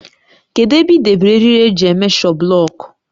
Kedụ ebe ị debere eriri eji éméshọ bụlọọkụ?